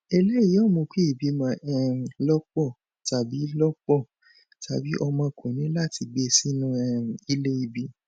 eléyìí yoo mu ki ìbìmọ um lọpọ tabi lọpọ tabi ọmọ kọni láti gbé sínu um ilé ìbí